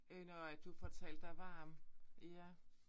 Øh når at du får talt dig varm ja